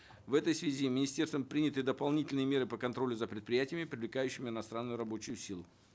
в этой связи министерством приняты дополнительные меры по контролю за предприятиями привлекающими иностранную рабочую силу